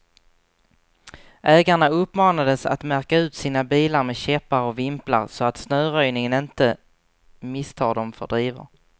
Ägarna uppmanades att märka ut sina bilar med käppar och vimplar, så att snöröjningen inte misstar dem för drivor.